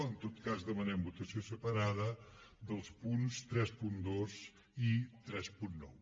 en tot cas demanem votació separada dels punts trenta dos i trenta nou